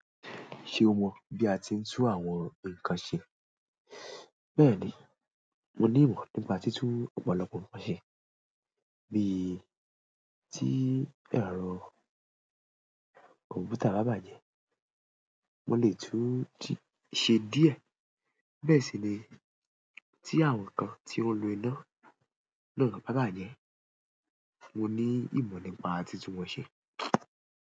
Ṣé o mọ̀ bí a ti ń tún àwọn nǹkan ṣe? Bẹ́ẹ̀ni, mo ní ìmọ̀ nípa títún ọ̀pọ̀lọpọ̀ nǹkan ṣe. Bí i tí ẹ̀rọ kọ̀m̀pútà bá bàjẹ́, mo lè tún-un ṣe díẹ̀. Bẹ́ẹ̀ sì ni tí àwọn nǹkan tí ó ń lo iná náà bá bàjẹ́, mo ní ìmọ̀ nípa títún wọn ṣe.